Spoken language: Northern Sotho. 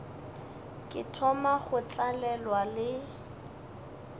ke thoma go tlalelwa le